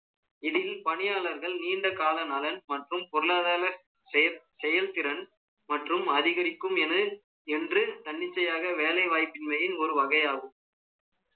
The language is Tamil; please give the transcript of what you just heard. இதில், பணியாளர்கள், நீண்ட கால நலன், மற்றும், பொருளாதார, செயல்திறன், மற்றும், அதிகரிக்கும் என, என்று, தன்னிச்சையாக, வேலை வாய்ப்பின்மையின், ஒரு வகையாகும்